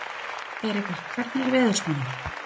Erika, hvernig er veðurspáin?